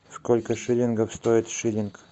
сколько шиллингов стоит шиллинг